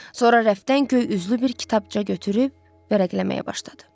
Sonra rəfdən göy üzlü bir kitabça götürüb vərəqləməyə başladı.